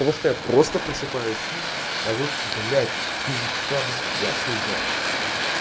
того что я просто просыпаюсь а тут блять такие вещества ну я хуй знает